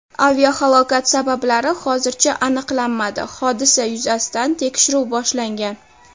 Aviahalokat sabablari hozircha aniqlanmadi, hodisa yuzasidan tekshiruv boshlangan.